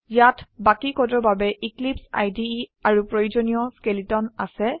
ইয়াত বাকি কোডৰ বাবে এক্লিপছে ইদে আৰু প্ৰয়োজনীয়া স্কেলেটন আছে